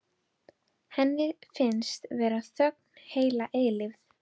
Henni finnst vera þögn heila eilífð.